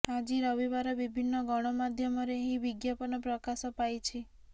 ଆଜି ରବିବାର ବିଭିନ୍ନ ଗଣମାଧ୍ୟମରେ ଏହି ବିଜ୍ଞାପନ ପ୍ରକାଶ ପାଇଛି